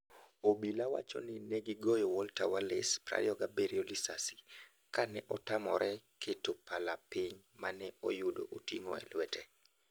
Obila wacho ni negi goyo Walter Wallace, 27, lisasi kane otamore keto pala piny mane oyudo oting'o e lwete.